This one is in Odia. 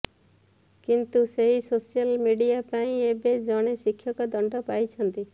କିନ୍ତୁ ସେହି ସୋସିଆଲ ମିଡିଆ ପାଇଁ ଏବେ ଜଣେ ଶିକ୍ଷକ ଦଣ୍ଡ ପାଇଛନ୍ତି